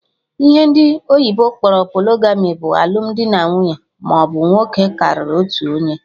Ihe ndị oyibo kpọrọ polygamy bụ alụmdi nwaanyị maọbụ nwoke karịrị otu onye